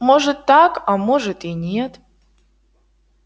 может так а может и нет